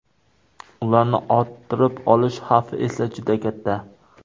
Ularni orttirib olish xavfi esa juda katta.